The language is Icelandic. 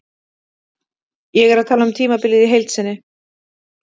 Ég er að tala um tímabilið í heild sinni.